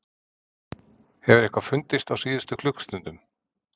Hefur eitthvað fundist á síðustu klukkustundum?